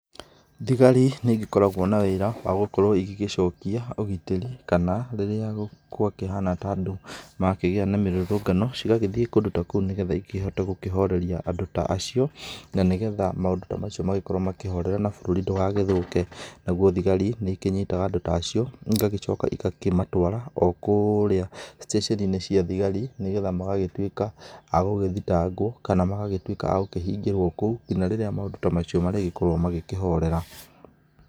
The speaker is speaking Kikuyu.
Thigari nĩ igĩkoragwo na wĩra wa gũkorwo igĩgĩcokia ũgitĩri kana rĩrĩa gwa kĩhana ta andũ makĩgĩa na mirũrũngano cigagĩthĩe kũndũ ta kũũ nĩgetha ikĩhote gũkĩhoreria andũ ta acĩo na nĩgetha maũndũ ta macio magĩkorwo makĩhorera na bũrũri ndugagĩthũke, nagũo thigari nĩ ikĩnyitaga andũ ta acio igagĩcoka igakĩmatwara o kũũrĩa stationinĩ cia thigari, nĩ getha magagĩtwĩka a gũgĩthitangwo kana magagĩtwĩka a gũkĩhĩngĩrwo kũũ ngĩnya rĩrĩa maũndu ta macio marĩgĩkorwo makĩhorera.